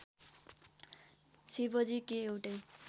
शिवजी के एउटै